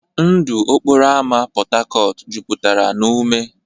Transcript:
Ndụ okporo ámá Port Harcourt jupụtara na ume.